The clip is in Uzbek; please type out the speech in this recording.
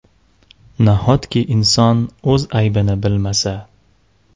Nahotki inson o‘z aybini bilmasa.